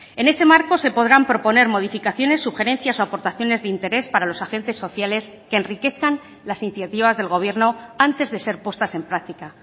en ese marco se podrán proponer modificaciones sugerencias o aportaciones de interés para los agentes sociales que enriquezcan las iniciativas del gobierno antes de ser puestas en práctica